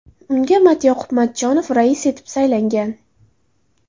Unga Matyoqub Matchonov rais etib saylangan .